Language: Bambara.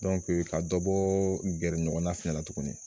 ka dɔ bɔɔɔ gɛrɛ ɲɔgɔnna fɛnɛ la tuguni